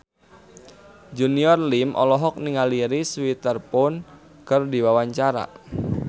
Junior Liem olohok ningali Reese Witherspoon keur diwawancara